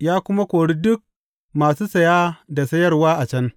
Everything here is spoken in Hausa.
ya kuma kori duk masu saya da sayarwa a can.